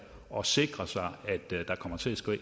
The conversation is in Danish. og sikre sig at der kommer til at